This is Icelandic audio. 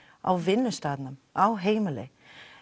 á vinnustaðnum á heimili